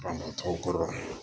tɔgɔ kɔrɔ